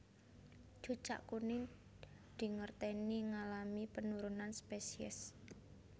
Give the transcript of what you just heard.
Cucak kuning dingerteni ngalami penurunan spesies